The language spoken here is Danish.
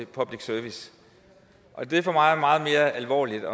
public service det er for mig meget mere alvorligt